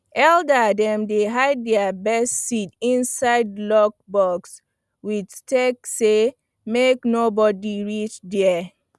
elder dem dey hide their best seed inside locked box with talk say make no body reach there